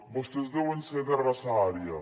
vostès deuen ser de raça ària